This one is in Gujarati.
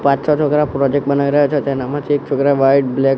પાંચ છ છોકરા પ્રોજેક્ટ બનાઈ રહ્યા છે તેના માંથી એક છોકરાએ વ્હાઇટ બ્લેક --